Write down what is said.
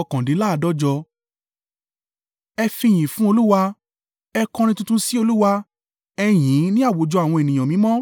Ẹ fi ìyìn fún Olúwa. Ẹ kọrin tuntun sí Olúwa. Ẹ yìn ín ní àwùjọ àwọn ènìyàn mímọ́.